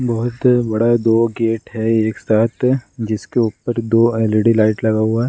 बहुत बड़ा दो गेट है एक साथ जिसके ऊपर दो एल.ई.डी. लाइट लगा हुआ --